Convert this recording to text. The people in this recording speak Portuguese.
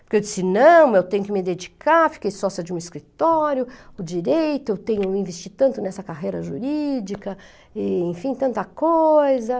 Porque eu disse, não, eu tenho que me dedicar, fiquei sócia de um escritório, o direito, eu tenho que investir tanto nessa carreira jurídica e, enfim, tanta coisa.